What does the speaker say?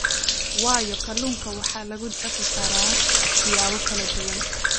waayo kalluunka waxaa lagu dhaqi karaa siyaabo kala duwan.